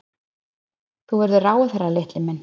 Þú verður ráðherra, litli minn.